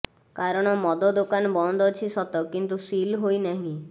କାରଣ ମଦ ଦୋକାନ ବନ୍ଦ ଅଛି ସତ କିନ୍ତୁ ସିଲ୍ ହୋଇନାହିଁ